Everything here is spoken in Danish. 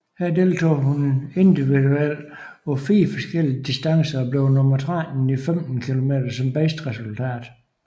Her deltog hun individuelt på fire forskellige distancer og blev nummer 13 i 15 km som bedste resultat